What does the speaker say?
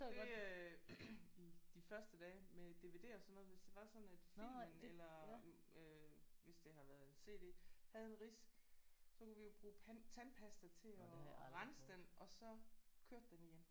Det øh i de første dage med DVD og sådan noget hvis det var sådan at filmen eller øh hvis det har været CD havde en ridse så kunne vi jo bruge tandpasta til at rense den og så kørte den igen